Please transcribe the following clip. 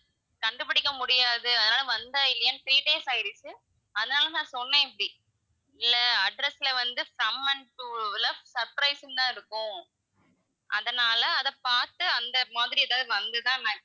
கண்டு பிடிக்க முடியாது அதனால வந்தா இல்லையான்னு three days ஆயிடுச்சு, ஆனாலும் நான் சொன்னேன் இப்படி இல்ல address ல வந்து from and to ல surprise ன்னு தான் இருக்கும் அதனால அத பாத்து அந்த மாதிரி எதாவது வந்துதான்னு நான்,